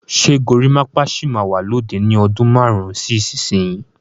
Ṣé gorimapa sì máa wà lóde ni ọdún márùn-ún sí ìsinsìnyí?